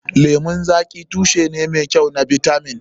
Lemun zaƙi tushe ne mai kyau na bitamin.